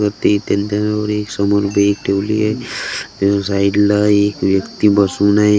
प्रत्येक तेल दरावर एक समोर बॅग ठेवली आहे त्याच्या साइड ला एक व्यक्ती बसून आहे.